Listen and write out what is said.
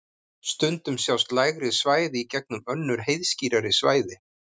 Stundum sjást lægri svæði í gegnum önnur heiðskírari svæði.